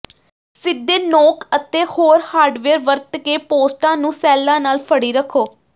ਸਿੱਧੇ ਨੋਕ ਅਤੇ ਹੋਰ ਹਾਰਡਵੇਅਰ ਵਰਤ ਕੇ ਪੋਸਟਾਂ ਨੂੰ ਸੈੱਲਾਂ ਨਾਲ ਫੜੀ ਰੱਖੋ